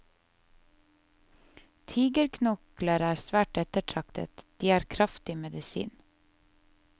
Tigerknokler er svært ettertraktet, de er kraftig medisin.